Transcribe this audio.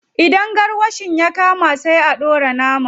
Idan garwashin ya kama, sai a dora naman.